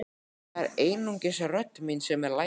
En það er einungis rödd mín sem er lævís.